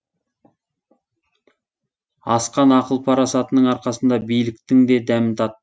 асқан ақыл парасатының арқасында биліктің де дәмін тат